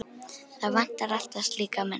Það vantar alltaf slíka menn.